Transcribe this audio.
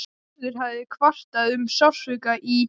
Gerður hafði kvartað um sársauka í.